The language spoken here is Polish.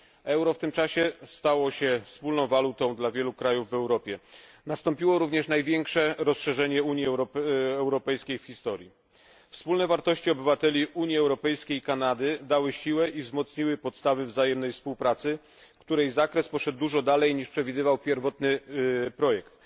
Euro w tym czasie stało się wspólną walutą wielu krajów w Europie. Nastąpiło również największe rozszerzenie Unii Europejskiej w historii. Wspólne wartości obywateli Unii Europejskiej i Kanady dały siłę i wzmocniły podstawy wzajemnej współpracy, której zakres poszedł dużo dalej, niż przewidywał pierwotny projekt.